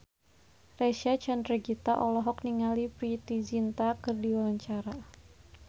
Reysa Chandragitta olohok ningali Preity Zinta keur diwawancara